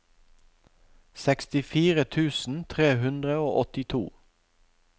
sekstifire tusen tre hundre og åttito